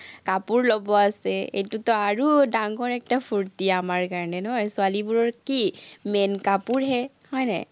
কাপোৰ ল'ব আছে। এইটোতো আৰু ডাঙৰ ফুৰ্টি আমাৰ কাৰণে নহয়, ছোৱালীবোৰৰ কি, main কাপোৰহে, হয় নাই?